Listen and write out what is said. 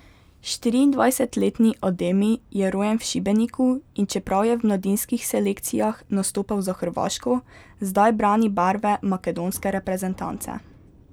Štiriindvajsetletni Ademi je rojen v Šibeniku in čeprav je v mladinskih selekcijah nastopal za Hrvaško, zdaj brani barve makedonske reprezentance.